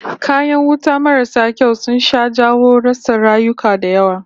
Kayan wuta marasu kyau sun sha jawo rasa rayuka da yawa